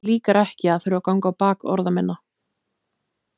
Mér líkar ekki að þurfa að ganga á bak orða minna.